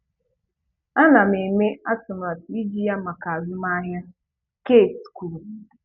Ana m eme atụmatụ iji ya maka azụmahịa, "Keith kwuru.